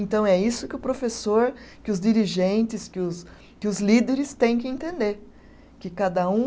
Então é isso que o professor, que os dirigentes, que os, que os líderes têm que entender, que cada um